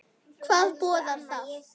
Hvað boðar það?